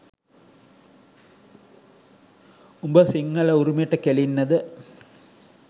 උඹ සිංහල උරුමෙට කෙලින්නද